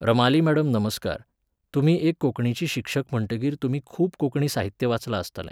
Ramali madam नमस्कार, तुमी एक कोंकणीची शिक्षक म्हणटकीर तुमी खूब कोंकणी साहित्य वाचलां आसतलें